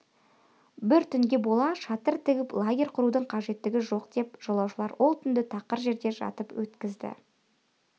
бір түнге бола шатыр тігіп лагерь құрудың қажеттігі жоқ деп жолаушылар ол түнді тақыр жерде жатып өткізді